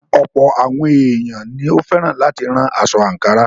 Ọ̀̀pọ̀ àwọn èèyàn ní ó fẹ́ràn láti rán aṣọ àǹkárá.